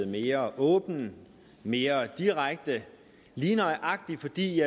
mere åben og mere direkte lige nøjagtig fordi